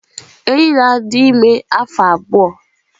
Enyí na-adị ime afọ abụọ.